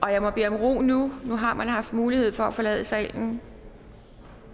jeg må bede om ro nu nu har man haft mulighed for at forlade salen